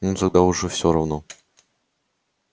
ну тогда уж всё равно